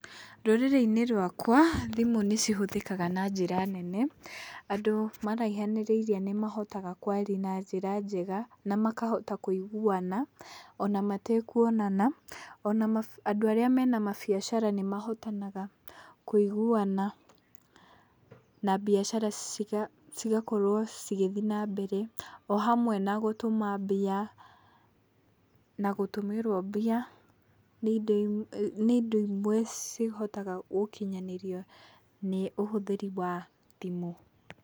Rũrĩrĩ-inĩ rwakwa, thimũ nĩ cihũthĩkaga na njĩra nene, andũ maraihanĩrĩirie nĩ mahotaga kwaria na njĩra njega, na makahota kũiguana, ona matekuonana, ona andũ arĩa me na mabiacara nĩ mahotanaga kũiguana na biacara cigakorwo cigĩthiĩ na mbere o hamwe na gũtũma mbia, na gũtũmĩrwo mbia, nĩ indo imwe cihotaga gũkinyanĩrio nĩ ũhũthĩri wa thimũ.